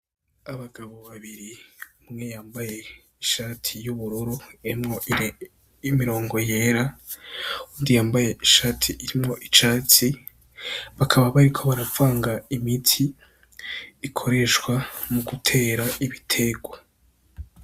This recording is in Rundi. Abagabo babiri umwe yambaye ishati y'ubururu y' imirongo yera uwundi yambaye ishati irimwo icatsi bakaba bariko baravanga imiti, ikoreshwa mu gutera ibiterwa.